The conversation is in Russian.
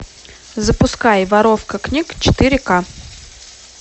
запускай воровка книг четыре ка